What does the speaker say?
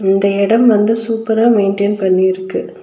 இந்த எடம் வந்து சூப்பரா மெய்ன்டென் பண்ணிருக்கு.